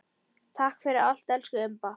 Takk fyrir allt, elsku Imba.